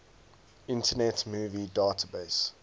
internet movie database